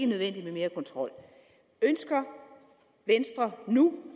nødvendigt med mere kontrol ønsker venstre nu